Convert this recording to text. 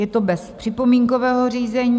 Je to bez připomínkového řízení.